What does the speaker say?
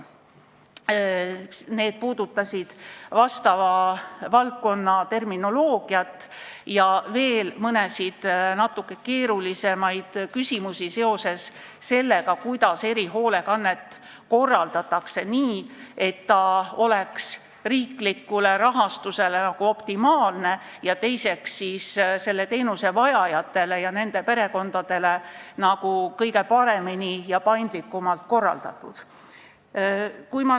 Need puudutasid valdkonna terminoloogiat ja veel mõnda natuke keerulisemat küsimust, mis on seotud sellega, kuidas erihoolekannet korraldada nii, et ta oleks riikliku rahastuse mõttes optimaalne ning selle teenuse vajajatele ja nende perekondadele kõige paremini ja paindlikumalt korraldatud.